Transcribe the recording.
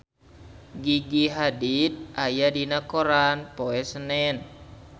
Gigi Hadid aya dina koran poe Senen